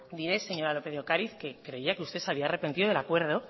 diré señora lópez de ocariz que creía que usted se había arrepentido del acuerdo